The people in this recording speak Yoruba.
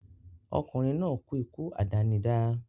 Ọkùnrin náà kú ikú àdánidá